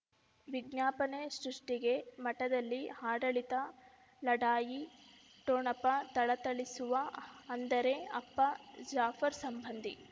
ವಿಜ್ಞಾಪನೆ ಸೃಷ್ಟಿಗೆ ಮಠದಲ್ಲಿ ಆಡಳಿತ ಲಢಾಯಿ ಠೊಣಪ ಥಳಥಳಿಸುವ ಅಂದರೆ ಅಪ್ಪ ಜಾಫರ್ ಸಂಬಂಧಿ